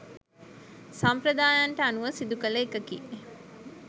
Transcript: සම්ප්‍රදායයන්ට අනුව සිදුකළ එකකි.